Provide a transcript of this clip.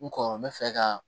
N kɔrɔ n bɛ fɛ ka